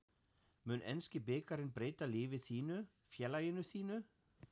Mun enski bikarinn breyta lífi þínu, félaginu þínu?